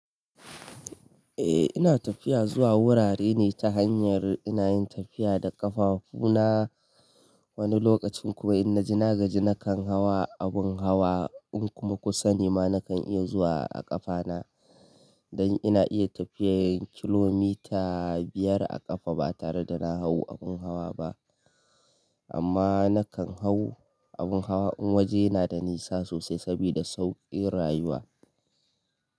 Eh ina tafiya zuwa wurare ne ta hanyar ina yin tafiya da ƙafafu na wani lokacin kuma ina jina gaji na kan hawa abun hawa in kuma kusa ne ma na kan iya zuwa a ƙafa na don ina iya tafiyar kilomita biyar a ƙafa ba tare da na hau abun hawa ba amma na kan hau abun hawa in waje yana da nisa sosai sabida sauƙin rayuwa.